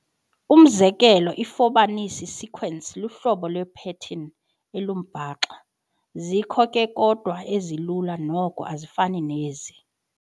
Umzekelo iFibonacci sequence luhlobo lwepattern olumbaxa. zikho ke kodwa ezilula noko ezifana nezi.